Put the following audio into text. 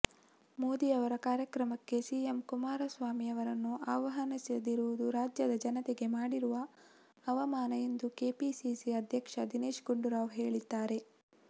ಮೋದಿಯವರ ಕಾರ್ಯಕ್ರಮಕ್ಕೆ ಸಿಎಂ ಕುಮಾರಸ್ವಾಮಿಯವರನ್ನು ಆಹ್ವಾನಿಸದಿರುವುದು ರಾಜ್ಯದ ಜನತೆಗೆ ಮಾಡಿರುವ ಅವಮಾನ ಎಂದು ಕೆಪಿಸಿಸಿ ಅಧ್ಯಕ್ಷ ದಿನೇಶ್ ಗುಂಡೂರಾವ್ ಹೇಳಿದ್ದಾರೆ